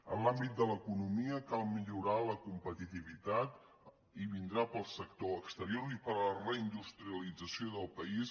en l’àmbit de l’economia cal millorar la competitivitat i vindrà pel sector exterior i per la reindustrialització del país